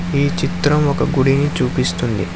ఈ చిత్రం ఒక గుడిని చూపిస్తుంది.